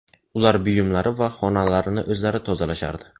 Ular buyumlari va xonalarini o‘zlari tozalashardi.